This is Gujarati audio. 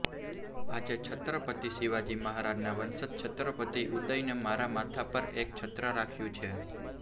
આજે છત્રપતિ શિવાજી મહારાજના વંશજ છત્રપતિ ઉદયને મારા માથા પર એક છત્ર રાખ્યું છે